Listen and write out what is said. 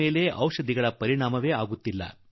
ೇಲೆ ಔಷಧಿಗಳ ಪ್ರಭಾವವೇ ಇಲ್ಲವಾಗುತ್ತದೆ